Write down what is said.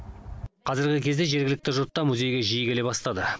қазіргі кезде жергілікті жұрт та музейге жиі келе бастады